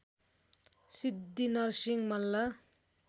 Siddhi Narasimha Malla